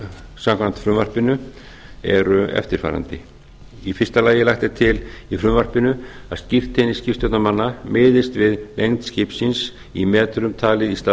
samkvæmt frumvarpinu eru eftirfarandi fyrsta lagt er til í frumvarpinu að skírteini skipstjórnarmanna miðist við lengd skipsins í metrum talið í stað